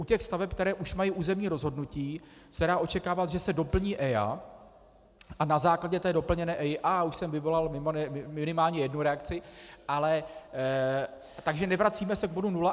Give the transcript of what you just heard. U těch staveb, které už mají územní rozhodnutí, se dá očekávat, že se doplní EIA a na základě té doplněné EIA - už jsem vyvolal minimálně jednu reakci - takže nevracíme se k bodu nula.